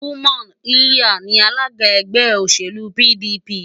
Umar lliya ni alága ẹgbẹ́ òṣèlú PDP.